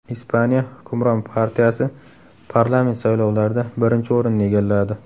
Ispaniya hukmron partiyasi parlament saylovlarida birinchi o‘rinni egalladi.